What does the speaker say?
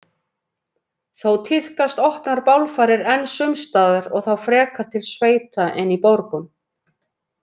Þó tíðkast opnar bálfarir enn sums staðar og þá frekar til sveita en í borgum.